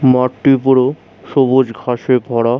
মাঠটি পুরো সবুজ ঘাসে ভরা।